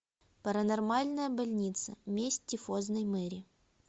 паранормальная больница месть тифозной мэри